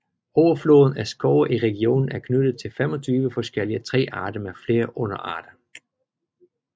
Overfloden af skove i regionen er knyttet til 25 forskellige træarter med flere underarter